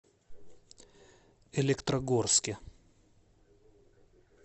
электрогорске